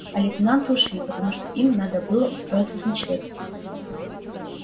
а лейтенанты ушли потому что им ещё надо было устроиться с ночлегом